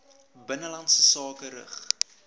binnelandse sake rig